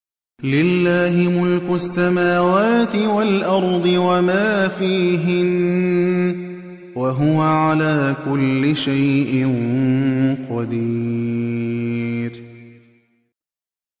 لِلَّهِ مُلْكُ السَّمَاوَاتِ وَالْأَرْضِ وَمَا فِيهِنَّ ۚ وَهُوَ عَلَىٰ كُلِّ شَيْءٍ قَدِيرٌ